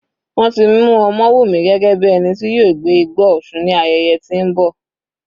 Wọ́n ti mú Omowumi gẹ́gẹ́ bí ẹni tí yóò gbé igbá òsun ní ayẹyẹ tí ń bọ.